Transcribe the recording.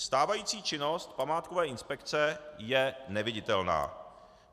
Stávající činnost památkové inspekce je neviditelná.